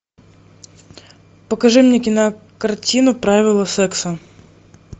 покажи мне кинокартину правила секса